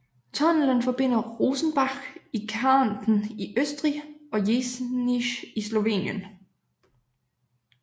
Tunnelen forbinder Rosenbach i Kärnten i Østrig og Jesenice i Slovenien